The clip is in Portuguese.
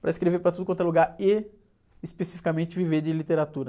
para escrever para tudo quanto é lugar e, especificamente, viver de literatura.